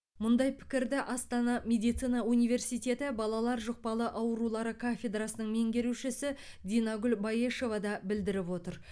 мұндай пікірді астана медицина университеті балалар жұқпалы аурулары кафедрасының меңгерушісі динагүл баешева да білдіріп отыр